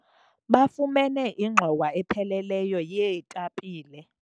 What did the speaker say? bafumene ingxowa epheleleyo yeetapile